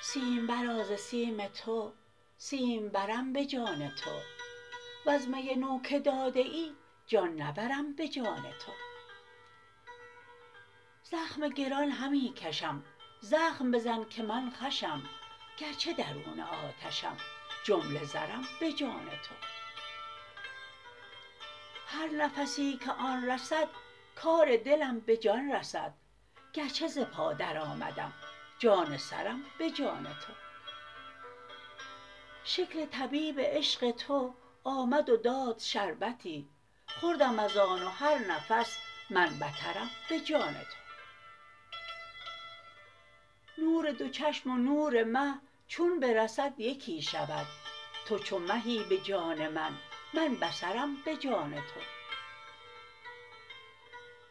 سیمبرا ز سیم تو سیمبرم به جان تو وز می نو که داده ای جان نبرم به جان تو زخم گران همی کشم زخم بزن که من خوشم گرچه درون آتشم جمله زرم به جان تو هر نفسی که آن رسد کار دلم به جان رسد گرچه ز پا درآمدم جان سرم به جان تو شکل طبیب عشق تو آمد و داد شربتی خوردم از آن و هر نفس من بترم به جان تو نور دو چشم و نور مه چون برسد یکی شود تو چو مهی به جان من من بصرم به جان تو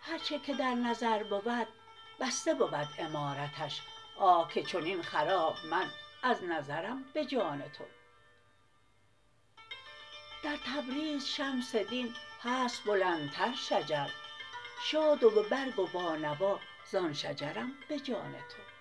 هر چه که در نظر بود بسته بود عمارتش آه که چنین خراب من از نظرم به جان تو در تبریز شمس دین هست بلندتر شجر شاد و به برگ و با نوا زان شجرم به جان تو